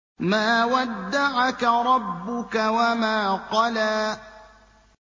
مَا وَدَّعَكَ رَبُّكَ وَمَا قَلَىٰ